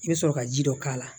I bɛ sɔrɔ ka ji dɔ k'a la